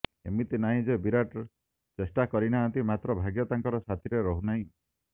ଏମିତି ନାହିଁ ଯେ ବିରାଟ ଚେଷ୍ଟା କରୁନାହାନ୍ତି ମାତ୍ର ଭାଗ୍ୟ ତାଙ୍କର ସାଥିରେ ରହୁନାହିଁ